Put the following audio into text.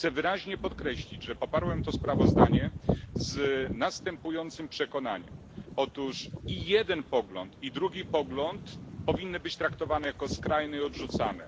Chcę wyraźnie podkreślić, że poparłem to sprawozdanie z następującym przekonaniem otóż i jeden pogląd, i drugi pogląd powinny być traktowane jako skrajne i odrzucane.